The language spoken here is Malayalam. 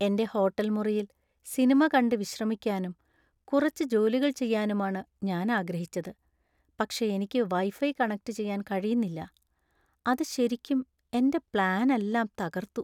എന്‍റെ ഹോട്ടൽ മുറിയിൽ സിനിമ കണ്ട് വിശ്രമിക്കാനും കുറച്ച് ജോലികൾ ചെയ്യാനുമാണ് ഞാൻ ആഗ്രഹിച്ചത്, പക്ഷേ എനിക്ക് വൈഫൈ കണക്റ്റുചെയ്യാൻ കഴിയുന്നില്ല, അത് ശരിക്കും എന്‍റെ പ്ലാനെല്ലാം തകര്‍ത്തു.